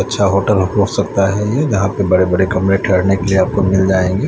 अच्छा होटल हो सकता है ये यहां पे बड़े बड़े कमरे ठहरने के लिए आपको मिल जाएंगे।